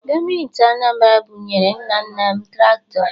Gọọmenti Anambara bunyere nna nna m traktọ.